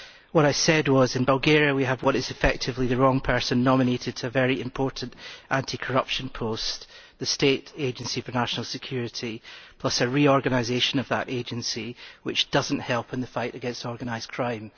What I said was that in Bulgaria we have what is effectively the wrong person nominated to a very important anti corruption post, the State Agency for National Security, plus a reorganisation of that agency which does not help in the fight against organised crime.